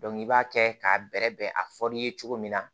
i b'a kɛ k'a bɛrɛbɛn a fɔl'i ye cogo min na